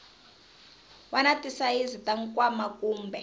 wana tisayizi ta nkwama kumbe